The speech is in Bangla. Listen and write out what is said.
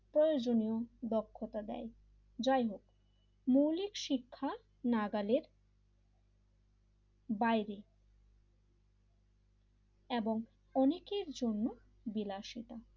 প্রয়োজনীয় দক্ষতা দেয় যাই হোক মৌলিক শিক্ষার নাগালের বাইরে এবং অনেকের জন্য বিলাসিতা,